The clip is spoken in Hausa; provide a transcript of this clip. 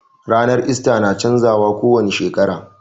Ranar ista na canza wa ko wani shekara